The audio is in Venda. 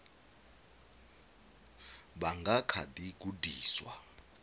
vha nga kha ḓi gudiswa